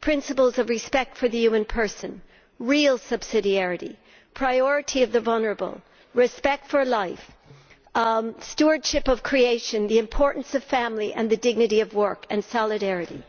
principles of respect for the human person, real subsidiarity, priority of the vulnerable, respect for life, stewardship of creation, the importance of family, the dignity of work, solidarity